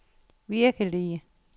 virkelige